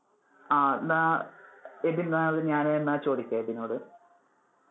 അഹ് ന്നാ എബിൻ, ഞാൻ എന്നാൽ ചോദിക്കാം എബിനോട്.